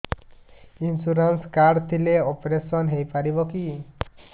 insurance card ଥିଲେ operation ହେଇପାରିବ କି